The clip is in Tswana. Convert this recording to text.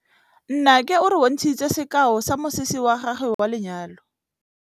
Nnake o re bontshitse sekaô sa mosese wa gagwe wa lenyalo.